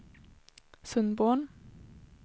Sundborn